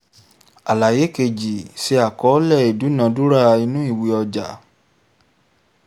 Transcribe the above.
àlàyé kejì:ṣe àkọọ́lẹ̀ ìdúnàádúrà inú ìwé ọjà